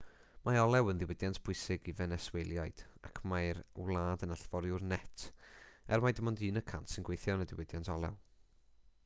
mae olew yn ddiwydiant pwysig i fenesweliaid ac mae'r wlad yn allforiwr net er mai dim ond un y cant sy'n gweithio yn y diwydiant olew